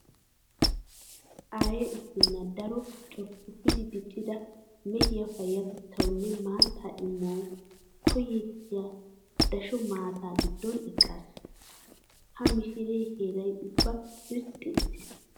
Aaya issinna daro corppoppi diccida mehiya payyatettaw nne maattaa imuwawu koyettiya dasho maataa giddon eqqaas. Ha mishiree heeray ubbay irxxi uttiis.